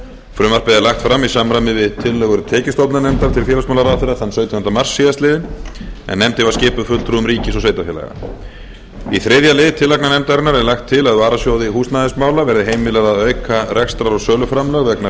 frumvarpið er lagt fram í samræmi við tillögur tekjustofnanefndar til félagsmálaráðherra þann sautjánda mars síðastliðinn en nefndin var skipuð fulltrúum ríkis og sveitarfélaga í þriðja lið tillagna nefndarinnar er lagt til að varasjóði húsnæðismála verði heimilað að auka rekstrar og söluframlög vegna